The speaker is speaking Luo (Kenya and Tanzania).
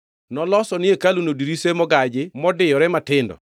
Noloso ni hekaluno dirise mogaji modiyore matindo.